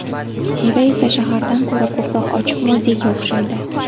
Xiva esa shahardan ko‘ra ko‘proq ochiq muzeyga o‘xshaydi.